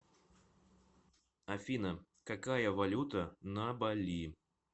афина какая валюта на бали